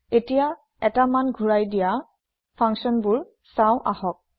এটিয়া এটা মান ঘোৰায় দিয়া functionsবোৰ চাওঁ আহক